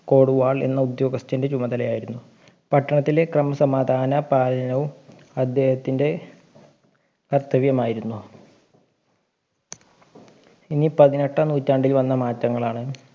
കോടുവാൾ എന്ന ഉദ്യോഗസ്ഥൻ്റെ ചുമതലയായിരുന്നു പട്ടണത്തിലെ ക്രമസമാധാനപാലനവും അദ്ദേഹത്തിൻ്റെ കർത്തവ്യമായിരുന്നു ഇനി പതിനെട്ടാം നൂറ്റാണ്ടിൽ വന്ന മാറ്റങ്ങളാണ്